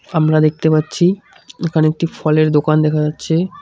আমরা দেখতে পাচ্ছি এখানে একটি ফলের দোকান দেখা যাচ্ছে।